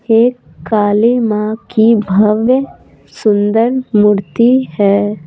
एक काली मां की भव्य सुंदर मूर्ती है।